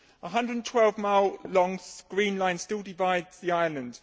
A 112 mile long green line' still divides the island.